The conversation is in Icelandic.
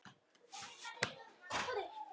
Við rigsum báðar.